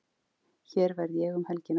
Hér verð ég um helgina.